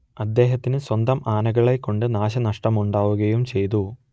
അദ്ദേഹത്തിന് സ്വന്തം ആനകളെകൊണ്ട് നാശനഷ്ടമുണ്ടാവുകയും ചെയ്തു